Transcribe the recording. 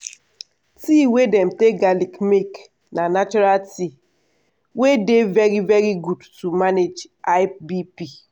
tea wey dem take garlic make na natural tea wey dey very very good to manage high bp.